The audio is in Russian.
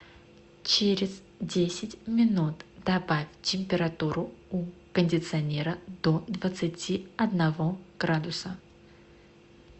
через десять минут добавить температуру у кондиционера до двадцати одного градуса